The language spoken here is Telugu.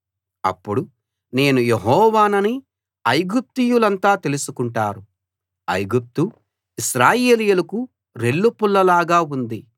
అప్పుడు నేను యెహోవానని ఐగుప్తీయులంతా తెలుసుకుంటారు ఐగుప్తు ఇశ్రాయేలీయులకు రెల్లుపుల్లలాగా ఉంది